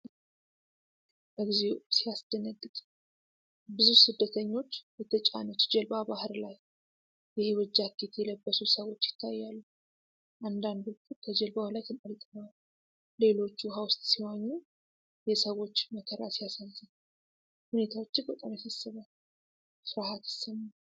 እግዚኦ ሲያስደነግጥ! ብዙ ስደተኞች የተጫነች ጀልባ ባህር ላይ! የሕይወት ጃኬት የለበሱ ሰዎች ይታያሉ። አንዳንዶቹ ከጀልባው ላይ ተንጠልጥለዋል። ሌሎች ውሃ ውስጥ ሲዋኙ። የሰዎች መከራ ሲያሳዝን! ሁኔታው እጅግ በጣም ያሳስባል። ፍርሃት ይሰማል።